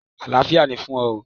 Àlàáfíà ni fún ọ!